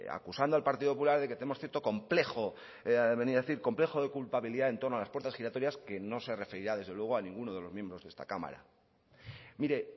acusando al partido popular de que tenemos cierto complejo de venir a decir complejo de culpabilidad en torno a las puertas giratorias que no se referirá desde luego a ninguno de los miembros de esta cámara mire